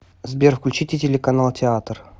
сбер включите телеканал театр